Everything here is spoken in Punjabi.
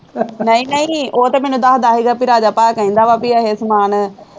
ਨਹੀਂ ਨਹੀਂ ਉਹ ਤਾਂ ਮੈਨੂੰ ਦੱਸਦਾ ਸੀਗਾ ਬਈ ਰਾਜਾ ਭਾਅ ਕਹਿੰਦਾ ਵਾ ਬਈ ਇਹ ਸਮਾਨ